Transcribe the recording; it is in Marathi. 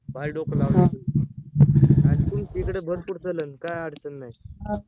अं पार डोकं लावल इकडे भरपूर चालेल काय अडचण नाय